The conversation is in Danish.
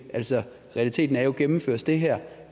altså realiteten er jo at gennemføres det her